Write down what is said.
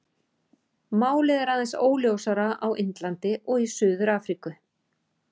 Málið er aðeins óljósara á Indlandi og í Suður-Afríku.